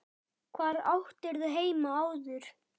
Hvar áttirðu heima áður?